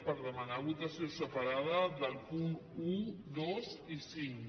per demanar votació separada dels punts un dos i cinc